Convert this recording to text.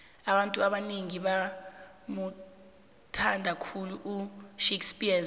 abantu abanengi bamuthnada khulu ushakespears